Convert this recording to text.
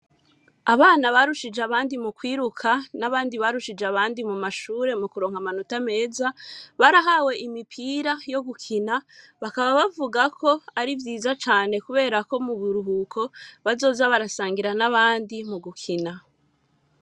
Abana barushije abandi mukwiruka n’abandi barushije abandi mumashure mukuronka amanota meza, barahawe imipira yo gukina bakaba bavuga ko arivyiza cane kubera Ko muburuhuko bazoza barasangira n’abandi mugukina.